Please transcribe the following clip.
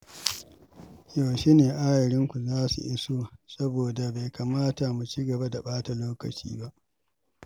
Yaushe ne ayarinku za su iso, saboda bai kamata mu ci gaba da ɓata lokaci ba.